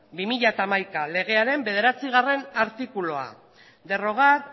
barra bi mila hamaika legearen bederatzigarrena artikulua derogar